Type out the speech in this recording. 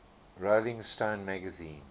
rolling stone magazine